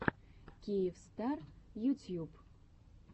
киевстар ютьюб